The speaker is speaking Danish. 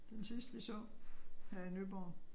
Den sidste vi så her i Nyborg